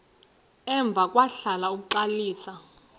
emva kwahlala uxalisa